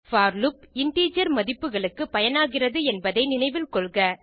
போர் loop integer மதிப்புகளுக்கு பயனாகிறது என்பதை நினைவில் கொள்க